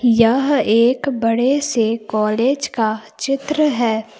यह एक बड़े से कॉलेज का चित्र है।